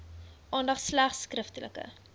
aandag slegs skriftelike